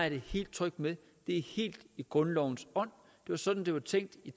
jeg helt tryg ved det er helt i grundlovens ånd det er sådan det var tænkt i